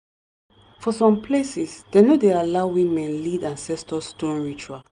for some places dem no dey allow woman lead ancestor stone ritual.